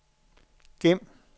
gem